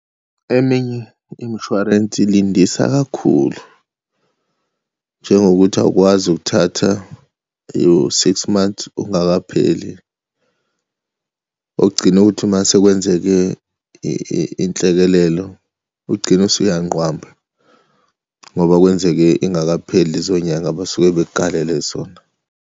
Eminye imshwarensi ilindisa kakhulu, njengokuthi awukwazi ukuthatha u-six months ungakapheli. Okugcina ukuthi uma sekwenzeke inhlekelelo, ugcine usuyanqwamba ngoba kwenzeke ingakapheli lezo nyanga abasuke bekukalele zona.